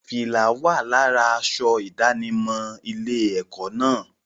Fìlá wà lára aṣọ ìdánimọ̀ ilé-ẹ̀kọ́ náà.